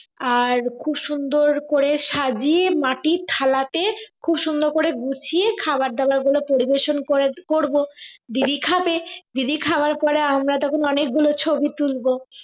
আর খুব সুন্দর করে সাজিয়ে মাটির থালাতে খুব সুন্দর করে গুছিয়ে খাবার দাবার গুলো পরিবেশন করে করবো দিদি খাবে দিদি খাওয়ার পরে আমরা তখন অনেক গুলো ছবি তুলব